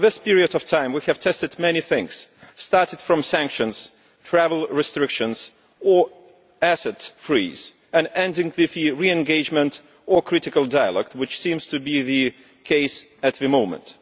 Over this period of time we have tested many things, starting from sanctions, travel restrictions and asset freezing and ending with re engagement or critical dialogue, which seems to be the case at the moment.